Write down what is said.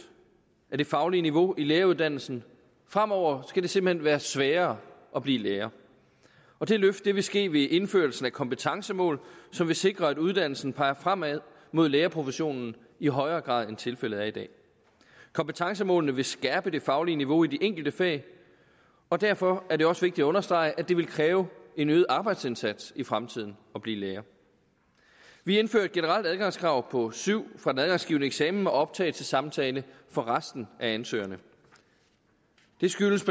af det faglige niveau i læreruddannelsen fremover skal det simpelt hen være sværere at blive lærer det løft vil ske ved indførelsen af kompetencemål som vil sikre at uddannelsen peger fremad mod lærerprofessionen i højere grad end tilfældet er i dag kompetencemålene vil skærpe det faglige niveau i de enkelte fag og derfor er det også vigtigt at understrege at det vil kræve en øget arbejdsindsats i fremtiden at blive lærer vi indfører et generelt adgangskrav på syv for den adgangsgivende eksamen med optagelsessamtale for resten af ansøgerne det skyldes